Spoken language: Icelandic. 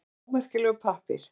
Að vera ómerkilegur pappír